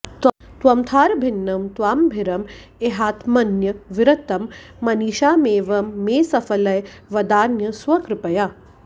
त्वमर्थाभिन्नं त्वामभिरम इहात्मन्यविरतं मनीषामेवं मे सफलय वदान्य स्वकृपया